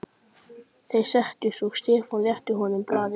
Þeir settust og Stefán rétti honum blaðið.